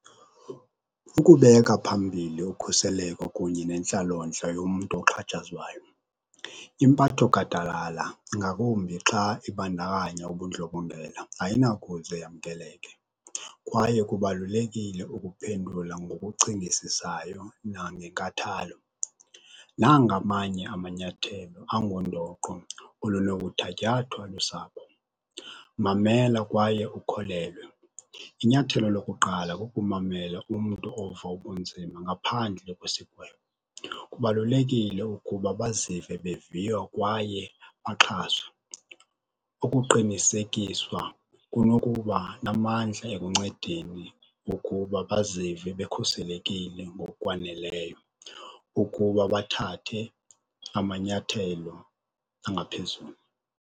Ukubeka phambili ukhuseleko kunye nentlalontle yomntu oxhatshazwayo, impatho gadalala, ngakumbi xa ibandakanya ubundlobongela ayinakuze yamkeleke kwaye kubalulekile ukuphendula ngokucingisisayo nangenkathalo. Nanga amanye amanyathelo angundoqo olunokuthatyathwa lusapho, mamela kwaye ukholelwe. Inyathelo lokuqala kukumamela umntu ova ubunzima ngaphandle kwesigwebo. Kubalulekile ukuba bazive beviwa kwaye baxhaswe. Ukuqinisekiswa kunokuba namandla ekuncedeni ukuba bazive bekhuselekile ngokwaneleyo ukuba bathathe amanyathelo angaphezulu.